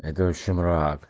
это вообще мраак